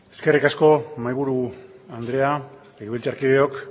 eskerrik asko mahaiburu andrea legebiltzarkideok